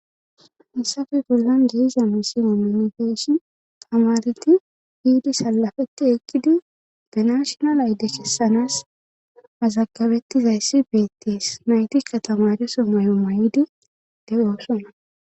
Hissafe gollon jeiza misi omanifeeshi tamareti hiidi salafetti ekkidi ganashonal ayde khessanaas mazagabettizayssi beettees nayti katamareso may7oma yiidi de7oosona